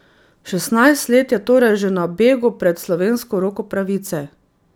Šestnajst let je torej že na begu pred slovensko roko pravice.